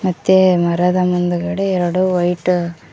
ಮತ್ತೆ ಮರದ ಮುಂದುಗಡೆ ಎರಡು ವೈಟ್ --